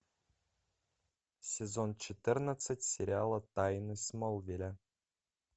сезон четырнадцать сериала тайны смолвиля